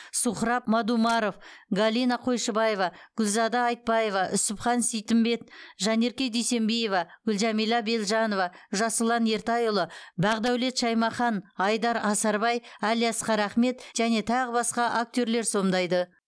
сухраб мадумаров галина қойшыбаева гүлзада айтбаева үсіпхан сейтімбет жанерке дүйсембиева гүлжәмилә белжанова жасұлан ертайұлы бақдәулет шаймахан айдар асарбай әлиасқар ахмет және тағы басқа актерлер сомдайды